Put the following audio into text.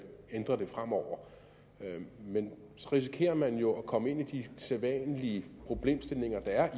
ændre det fremover men så risikerer man jo at komme ind i de sædvanlige problemstillinger der er